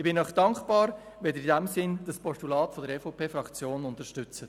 Ich bin Ihnen dankbar, wenn Sie dieses Postulat der EVP-Fraktion in diesem Sinn unterstützen.